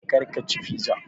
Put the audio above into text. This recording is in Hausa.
Karka ci fiza